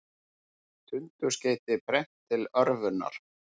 Tundurskeyti brennt til örvunar